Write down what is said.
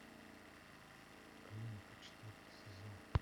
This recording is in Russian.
клиника четвертый сезон